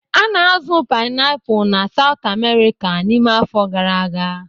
A na-azụ painiapulu na South America n'ime afọ gara aga.